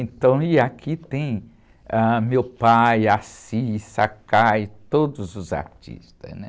E aqui tem meu pai, todos os artistas, né?